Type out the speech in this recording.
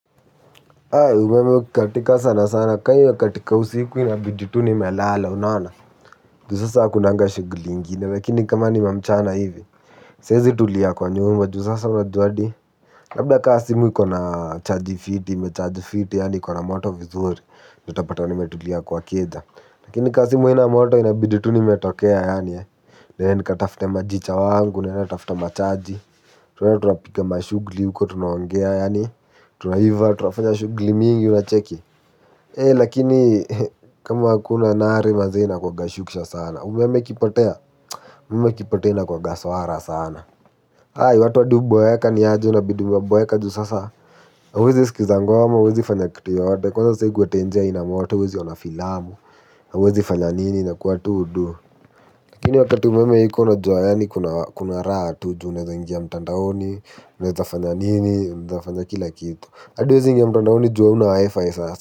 Mimi katika sana, kwenye katika usiku ya jitu nimelala, unaona. Puzusa kuna ngashi. Lakini kama ni mamchana hivi, fezi tuliyakwa, niwema. Duza sana, labda kasi miko na chatifi, metaadifi, yani kuna moto mzuri. Nitapata nimetulia kwa keda. Lakini kazi moja moto inabidi tu nimyetokea yani. Then katafuta majicha wangu, natafuta machaji, so twapika mashuguli, huko tunaongea yani. Tunajiva, tunafanya shuguli mingi tu. Wafanya shugli mingi una cheki ee lakini kama hakuna nare maze ina kwa gashukisha sana umeme kipotea umeme kipotea kuwaga swara sana hai watu waduboeka ni haji unabiduboeka juu sasa wuzi sikizangwa wama wuzi fanyakitiyo wate kwaza siku wate njea ina wato wuzi wana filamu hauwezi fanya nini inakuwa tu udu lakini wakati umeme iko unajuwa ya ni kuna rata uju nweza ingia mtandaoni unaweza fanya nini mzafanya kila kitu Adewa zingi ampernao ju hauna WiFi sasa.